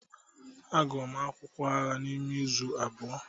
Agụm akwụkwọ agha n'ime izu abụọ.